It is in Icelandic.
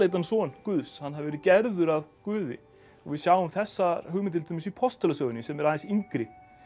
son Guðs hann hafi verið gerður að guði við sjáum þessar hugmyndir til dæmis í postulasögunni sem er aðeins yngri